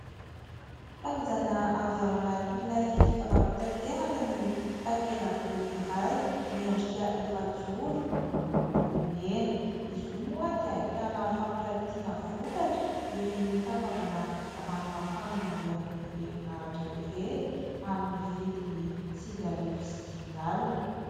Tazana avy ao anatin'ilay fitaovam-pitaterana ny takela-by iray miendrika efa-joro miloko mena, izy io moa dia ahitana fampiratiana vokatra ireny fanaovana ranomafana mandeha amin'ny herin'aratra ireny amin'ny vidiny sivy arivo sy dimy alina.